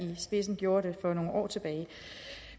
i spidsen gjorde det for nogle år tilbage